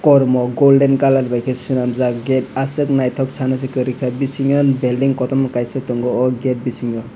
kormo golden colour baikhe swnamjak gate aswk naithok sanase kwrwikha bisingo building kotoma kaisa tongo oh gate bisingo.